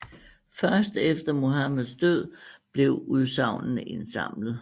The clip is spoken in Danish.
Først efter Muhammeds død blev udsagnene indsamlet